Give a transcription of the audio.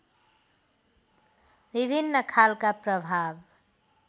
विभिन्न खालका प्रभाव